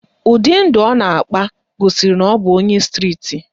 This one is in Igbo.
Ụdị ndụ ọ na-akpa gosiri na ọ bụ onye striti